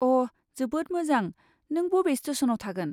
अ' जोबोद मोजां, नों बबे स्टेसनाव थागोन?